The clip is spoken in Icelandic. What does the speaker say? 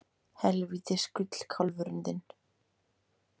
Helvítis gullkálfurinn þinn!